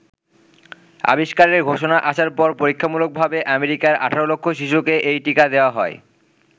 আবিস্কারের ঘোষণা আসার পর পরীক্ষামূলকভাবে আমেরিকার ১৮ লক্ষ শিশুকে এই টীকা দেওয়া হয়।